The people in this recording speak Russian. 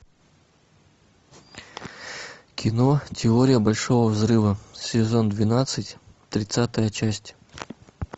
кино теория большого взрыва сезон двенадцать тридцатая часть